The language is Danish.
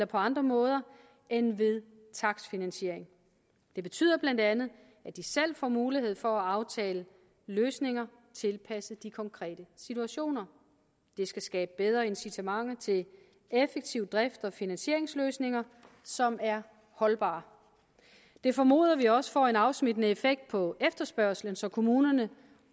på andre måder end ved takstfinansiering det betyder bla at de selv får mulighed for at aftale løsninger tilpasset de konkrete situationer det skal skabe bedre incitamenter til effektiv drifts og finansieringsløsninger som er holdbare det formoder vi også får en afsmittende effekt på efterspørgslen så kommunerne